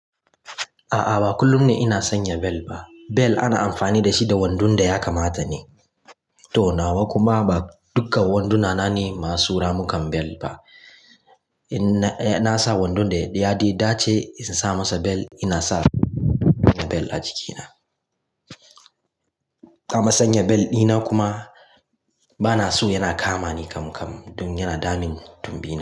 A'a, ba kullum ne ina sanya bel ba. Bel ana amfani da shi da wando da ya kamata ne. To nawa kuma ba dukkan wanduna na ne masu ramukan bel ba. In na sa wando da ya dace in sa masa bel, ina sa bel a jikina. Amma sanya bel dina kuma ba na so yana kama ni kam kam, don yana damun tumbina.